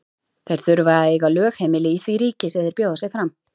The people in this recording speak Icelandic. Þeir þurfa að eiga lögheimili í því ríki sem þeir bjóða sig fram.